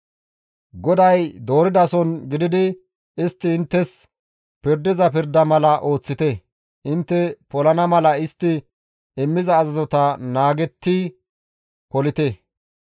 GODAY dooridason gididi istti inttes pirdiza pirda mala ooththite; intte polana mala istti immiza azazota naagetti polite.